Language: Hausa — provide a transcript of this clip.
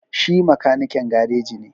Shi makanikin gareji ne,